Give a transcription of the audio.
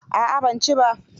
A'a ban ci ba.